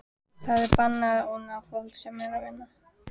Það er bannað að ónáða fólk sem er að vinna.